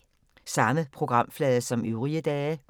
Samme programflade som øvrige dage